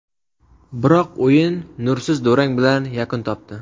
Biroq o‘yin nursiz durang bilan yakun topdi.